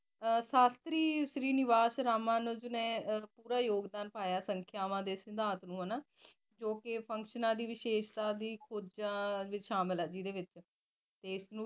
ਸਾਸ਼ਤਰੀ Srinivas Raman ਦਾ ਯੋਗ ਦਾਨ ਪਾਯਾ ਸੰਖਿਯਾਂ ਸਿੰਧਾਂਤ ਨੂ ਹੈ ਨਾ ਜੋ ਕ ਦੀ ਵੀ ਵਾਸ਼ੇਸ਼ ਵਿਚ ਸ਼ਾਮਿਲ ਹੈ ਜਿਡੀ ਵਿਚ ਏਸ ਨੂ ਵਿਚ